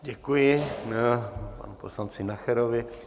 Děkuji panu poslanci Nacherovi.